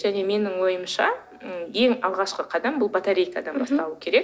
және менің ойымша м ең алғашқы қадам бұл батарейкадан басталу керек